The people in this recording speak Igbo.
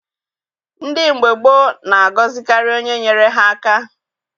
Ndị mgbe gboo na-agọzikarị onye nyere ha aka.